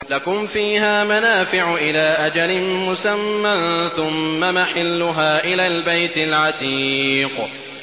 لَكُمْ فِيهَا مَنَافِعُ إِلَىٰ أَجَلٍ مُّسَمًّى ثُمَّ مَحِلُّهَا إِلَى الْبَيْتِ الْعَتِيقِ